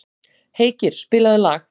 Heikir, spilaðu lag.